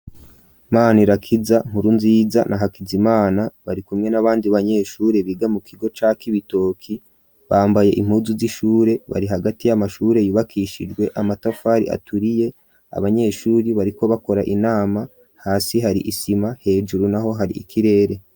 Manirakiza, Nkurunziza na Hakizimana barikumwe n'abandi banyeshure biga mu kigo ca Cibitoki, bambaye impuzu z'ishure, bari hagati y'amashure yubakishijw amatafari aturiye, abanyeshuri bariko bakora inama hasi hari isima, hejuru naho hari ikirere.